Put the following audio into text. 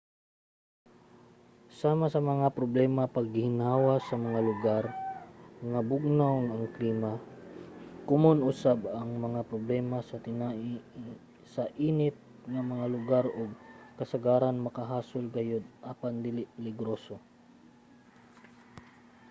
sama sa mga problema sa pagginhawa sa mga lugar nga bugnaw ang klima komon usab ang mga problema sa tinai sa init nga mga lugar ug kasagaran makahasol gayod apan dili peligroso